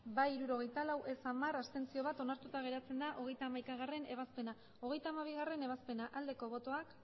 hamabost bai hirurogeita lau ez hamar abstentzioak bat onartuta geratzen da hogeita hamaikagarrena ebazpena hogeita hamabigarrena ebazpena aldeko botoak